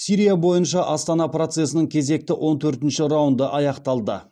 сирия бойынша астана процесінің кезекті он төртінші раунды аяқталды